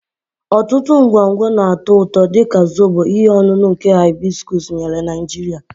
Ọtụtụ ngwongwo na-atọ ụtọ, dị ka Zobo, ihe ọṅụṅụ nke hibiscus nyere na Nigeria.